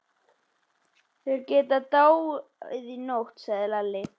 Þeir geta dáið í nótt, sagði Lalli.